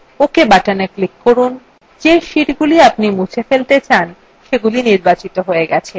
ok button click করুন যে sheets আপনি মুছে ফেলতে চান সেটি নির্বাচিত হয়ে গেছে